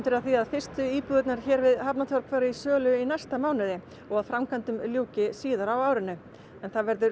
að því að fyrstu íbúðirnar hérna við Hafnartorg fari í sölu í næsta mánuði og að framkvæmdum ljúki síðar á árinu það verður